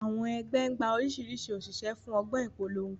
Àwọn ẹgbẹ́ ń gba oríṣiríṣi òṣìṣẹ́ fún ọgbọ́n ìpolongo.